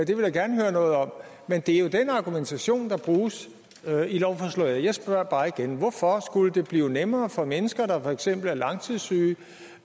det vil jeg gerne høre noget om men det er jo den argumentation der bruges i lovforslaget jeg spørger bare igen hvorfor skulle det blive nemmere for mennesker der for eksempel er langtidssyge